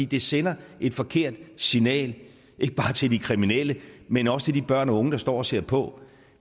det sender et forkert signal ikke bare til de kriminelle men også til de børn og unge der står og ser på